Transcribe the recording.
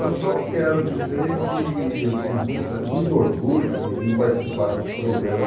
Eu só quero dizer que eu tive muita muito orgulho em vir participar desse programa.